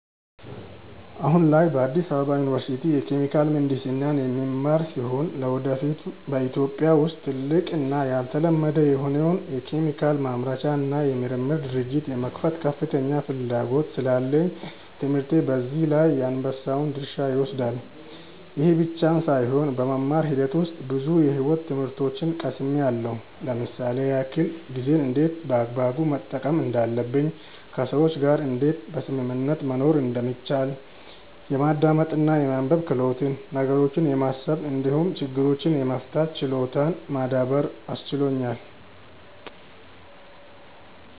አሁን ላይ በአዲስ አበባ ዩኒቨርሲቲ የኬሚካል ምሕንድስና የምማር ሲሆን ለወደፊት በኢትዮጵያ ውስጥ ትልቅ እና ያልተለመደ የሆነውን የኬሚካል ማምረቻ እና የምርምር ድርጅት የመክፈት ከፍተኛ ፍላጎት ስላለኝ ትምህርቴ በዚህ ላይ የአንበሳውን ድርሻ ይወስዳል። ይህ ብቻም ሳይሆን በመማር ሂደት ውስጥ ብዙ የሕይወት ትምህርቶችን ቀስምያለው ለምሳሌ ያክል፦ ጊዜን እንዴት በአግባቡ መጠቀም እንዳለብኝ፣ ከሰዎች ጋር እንዴት በስምምነት መኖር እንደሚቻል፣ የማዳመጥ እና የማንበብ ክህሎትን፣ ነገሮችን የማሰብ እንዲሁም ችግሮችን የመፍታት ችሎታን ማዳበር አስችሎኛል።